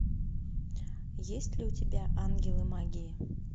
есть ли у тебя ангелы магии